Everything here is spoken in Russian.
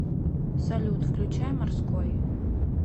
салют включай морской